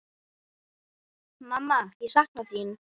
Mamma ég sakna þín.